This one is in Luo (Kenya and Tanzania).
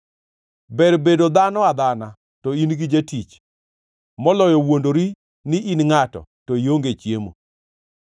Ber bedo dhano adhana, to in gi jatich, moloyo wuondori ni in ngʼato, to ionge chiemo.